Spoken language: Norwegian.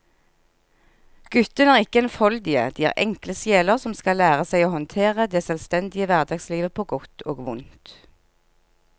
Guttene er ikke enfoldige, de er enkle sjeler som skal lære seg å håndtere det selvstendige hverdagslivet på godt og vondt.